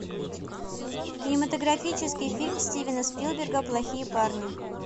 кинематографический фильм стивена спилберга плохие парни